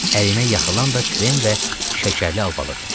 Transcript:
Əlinə yaxılan da krem və şəkərli albalıdı.